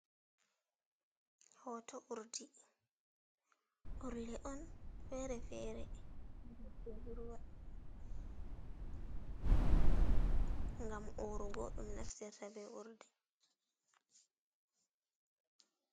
hooto urle on fere fere, rowɓe budurwa ɗo naftira ngam urugo ɗum naftirta be urle.